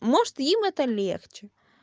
может им это легче